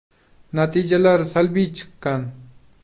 Natijalar salbiy chiqqan.